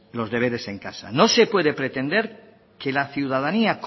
los deberes en casa no se puede pretender que la ciudadanía